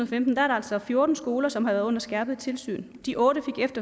femten altså fjorten skoler som har været under skræpet tilsyn de otte